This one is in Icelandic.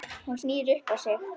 Hún snýr upp á sig.